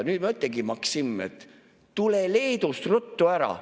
Nüüd ma ütlengi: Maksim, tule Leedust ruttu ära!